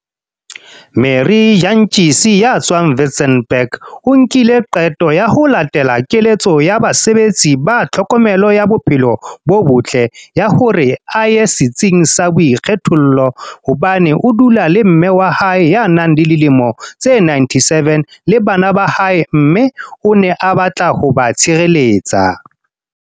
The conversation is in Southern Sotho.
Marie Jantjies ya tswang Witzenberg o nkile qeto ya ho latela keletso ya basebetsi ba tlhokomelo ya bophelo bo botle ya hore a ye setsing sa boikgethollo hobane o dula le mme wa hae ya nang le dilemo tse 97 le bana ba hae mme o ne a batla ho ba tshireletsa.